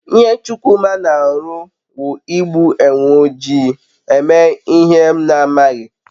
ihe Chukwuma n'aru wu igbu enwe oji eme ihe m n'aghi